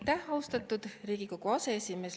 Aitäh, austatud Riigikogu aseesimees!